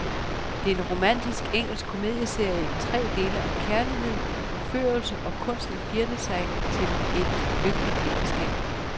Det er en romantisk engelsk komedieserie i tre dele om kærlighed, forførelse og kunsten at flirte sig til et lykkeligt ægteskab.